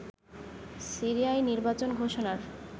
সিরিয়ায় নির্বাচন ঘোষণার